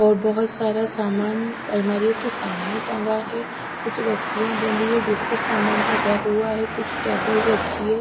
और बहोत सारा सामान अलमारियों के सामने टंगा है कुछ रस्सियां बंधी है जिस पर सामान टंगा हुआ है कुछ टेबल रखी है।